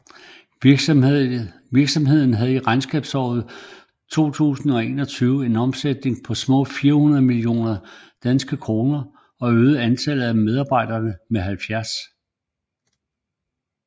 Virksomheden havde i regnskabsåret 2021 en omsætning på små 400 millioner DKK og øgede antallet af medarbejdere med 70